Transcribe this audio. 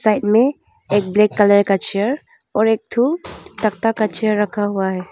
Side में एक black colour का चेयर और एक ठो तख्ता का चेयर रखा हुआ है।